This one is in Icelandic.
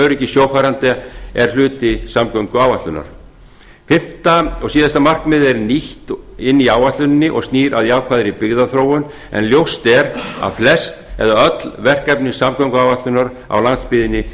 öryggi sjófarenda er hluti samgönguáætlunar fimmta og síðasta markmiðið er nýtt inn í áætluninni og snýr að jákvæðri byggðaþróun en ljóst er að flest eða öll verkefni samgönguáætlunar á landsbyggðinni